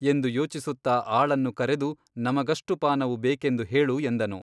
ಎಂದು ಯೋಚಿಸುತ್ತಾ ಆಳನ್ನು ಕರೆದು ನಮಗಷ್ಟು ಪಾನವು ಬೇಕೆಂದು ಹೇಳು ಎಂದನು.